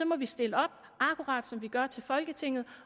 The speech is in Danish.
må vi stille op akkurat som vi gør til folketinget